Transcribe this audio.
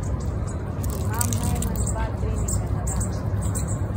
Imam najmanj dva treninga na dan.